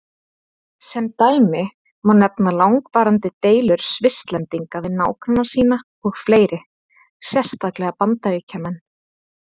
Sem dæmi má nefna langvarandi deilur Svisslendinga við nágranna sína og fleiri, sérstaklega Bandaríkjamenn.